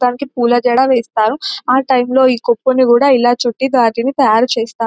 మొత్తానికి పూలజడ వేస్తారు ఆ టైం లోని కొప్పును కూడా ఇలా చుట్టి వాటిని తాయారు చేస్తా --